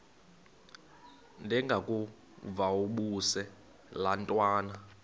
ndengakuvaubuse laa ntwana